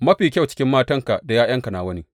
Mafi kyau cikin matanka da ’ya’yanka nawa ne.’